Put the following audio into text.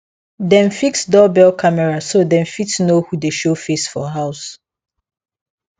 dem fix doorbell camera so dem fit know who dey show face for house